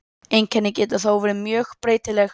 Einkennin geta þó verið mjög breytileg.